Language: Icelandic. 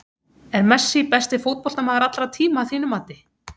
Er Messi besti fótboltamaður allra tíma að þínu mati?